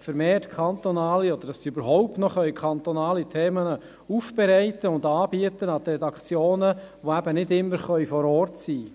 vermehrt kantonale Themen – oder dass sie überhaupt noch kantonale Themen – aufbereiten und anbieten können für die Redaktionen, welche nicht immer vor Ort sein können.